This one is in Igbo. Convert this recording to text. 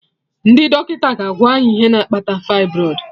Ndị dọkịta ga/agwa any ihe na-akpata fibroid